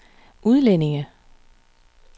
udlændinge